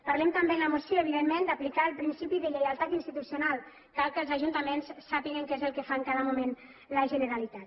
parlem també en la moció evidentment d’aplicar el principi de lleialtat institucional cal que els ajuntaments sàpiguen què és el que fa en cada moment la generalitat